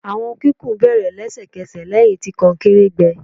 Awọn kikun bere lẹsẹkẹsẹ lẹhin ti konkere gbẹ